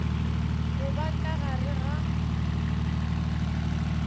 go ba ka gare ga